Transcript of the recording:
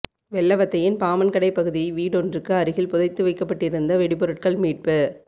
வெள்ளவத்தையின் பாமன்கடை பகுதி வீடொன்றுக்கு அருகில் புதைத்து வைக்கப்பட்டிருந்த வெடிபொருட்கள் மீட்பு